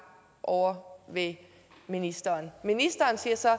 ovre ved ministeren ministeren siger så at